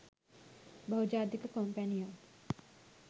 බහුජාතික කොම්පැනියක්